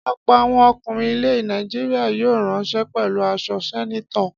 Ọ̀pọ̀ àwọn ọkùnrin ilẹ̀ Nàìjíríà yóò ránṣọ pẹ̀lú aṣọ sẹ́nétọ̀.